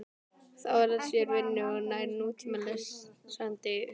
Þá er að fá sér vinnu, gæti nútímalesandi hugsað.